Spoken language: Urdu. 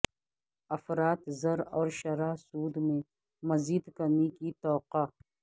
افراط زر اور شرح سود میں مزید کمی کی توقع